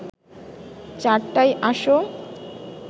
চারটায়ই আসো